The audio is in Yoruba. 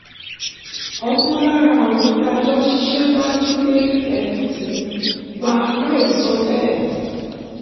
ọ̀kan lára àwọn tá a jọ ń ṣiṣẹ́ wá sílé wa láìsọ tẹ́lè